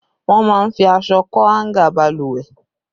Wọ́n máa ń fi aṣọ kọ́ háńgà Balùwẹ̀